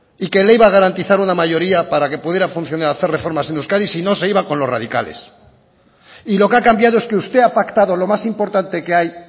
y que le iba a garantizar una mayoría para que pudiera funcionar y hacer reformas en euskadi si no se iba con los radicales y lo que ha cambiado es que usted ha pactado lo más importante que hay